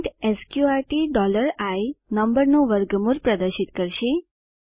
print સ્ક્ર્ટ i નંબરનું વર્ગમૂળ પ્રદર્શિત કરશે